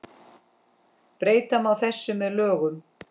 Breyta má þessu með lögum